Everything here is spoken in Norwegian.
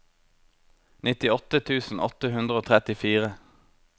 nittiåtte tusen åtte hundre og trettifire